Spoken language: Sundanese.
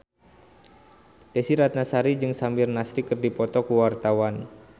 Desy Ratnasari jeung Samir Nasri keur dipoto ku wartawan